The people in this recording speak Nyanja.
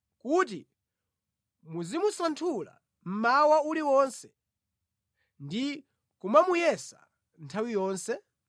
kuti muzimusanthula mmawa uliwonse ndi kumamuyesa nthawi yonse?